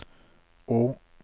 å